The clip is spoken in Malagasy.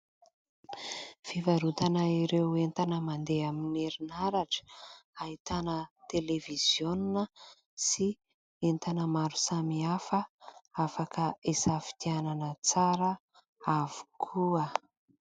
Fivarotana ireo entana mandeha amin' ny herinaratra. Ahitana televiziona sy entana maro samihafa afaka hisafidianana tsara avokoa.